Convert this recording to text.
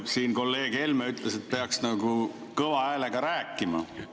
Siin kolleeg Helme ütles, et peaks nagu kõva häälega rääkima.